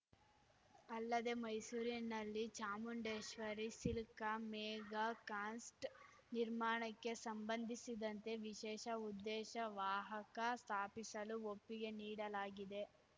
ಅಲ್ಲದೆ ಮೈಸೂರಿನಲ್ಲಿ Chamundeshwari silk mega ಕಾಸ್ಟ ನಿರ್ಮಾಣಕ್ಕೆ ಸಂಬಂಧಿಸಿದಂತೆ ವಿಶೇಷ ಉದ್ದೇಶ ವಾಹಕ ಸ್ಥಾಪಿಸಲು ಒಪ್ಪಿಗೆ ನೀಡಲಾಗಿದೆ